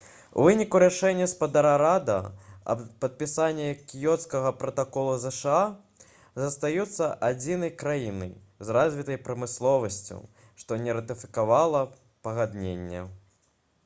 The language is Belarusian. у выніку рашэння спадара рада аб падпісанні кіёцкага пратакола зша застаюцца адзінай краінай з развітай прамысловасцю што не ратыфікавала пагадненне